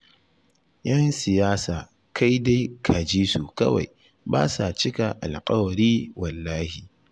Yan siyasa kai dai ka ji su kawai, ba sa cika alƙawari wallahi